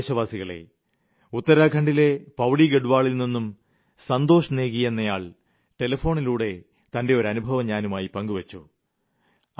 പ്രിയപ്പെട്ട ദേശവാസികളേ ഉത്തരാഖണ്ഡിലെ പൌരി ഗഢ്വാളിൽനിന്നും സന്തോഷ് നേഗി എന്നയാൾ ടെലിഫോണിലൂടെ തന്റെ ഒരനുഭവം ഞാനുമായി പങ്കുവെച്ചു